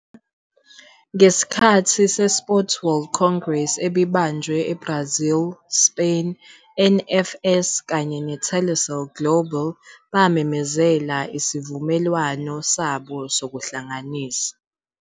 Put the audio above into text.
Ngesikhathi seSports World Congress ebibanjelwe eBarazil, Spain, NFS kanye neTelecel Global bamemezele isivumelwano sabo sokuhlanganisa.